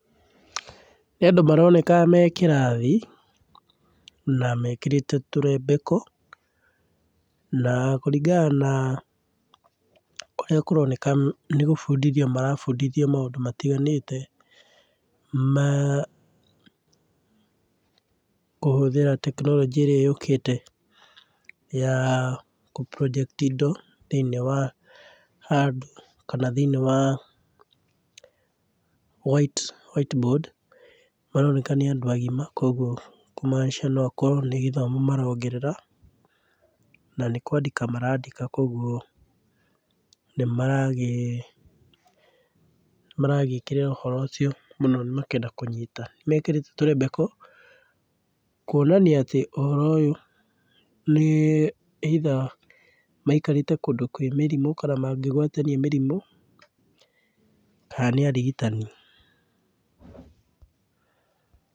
Nĩ andũ maroneka me kĩrathi na mekĩrĩte tũrembeko, na kũrĩngana na ũrĩa kũroneka nĩ gũbundithio marabundithio maũndũ matiganĩte ma kũhũthĩra tekinoronjĩ ĩrĩa yũkĩte ya gũ project indo thĩiniĩ wa handũ, kana thĩiniĩ wa white, white board. Maroneka nĩ andũ agima kumaanisha nĩ gĩthomo marongerera na nĩ kwandĩka marandĩka koguo nĩ maragĩ nĩ maragĩĩkĩrĩra ũhoro ũcio mũno makĩenda kũnyita. Nĩ mekĩrĩte tũrembeko kuonania atĩ ũhoro ũyũ nĩ either maikarĩte kũndũ kwĩ mĩrimũ kana mangĩgwatania mĩrimu, kana nĩ arigitani.